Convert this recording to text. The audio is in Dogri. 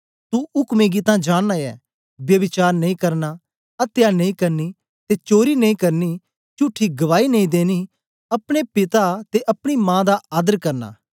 तू उकमें गी तां जानना ऐं ब्यभिचार नेई करना अत्या नेई करनी ते चोरी नेई करनी चुठी गवाही नेई देनी अपने पिता ते अपनी मा दा आदर करना